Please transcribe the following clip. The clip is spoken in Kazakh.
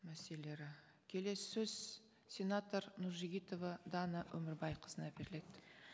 мәселелері келесі сөз сенатор нұржігітова дана өмірбайқызына беріледі